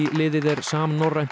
liðið er samnorrænt